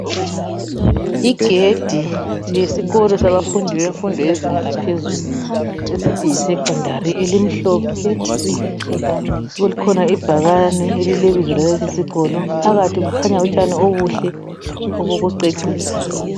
Igedi lesikolo sa bafundi bemfundo yezinga yaphezulu esithi yisecondary elimhlophe kukhona ibhalane elilebizo laleso sikolo phakathi kukhanya utshani obuhle obokucecisa.